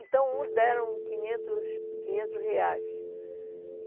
Então uns deram quinhentos quinhentos reais.